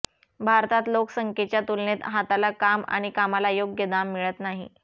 भारतात लोकसंख्येच्या तुलनेत हाताला काम आणि कामाला योग्य दाम मिळत नाही